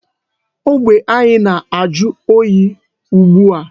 Ogbe anyị na-ajụ oyi ugbu a.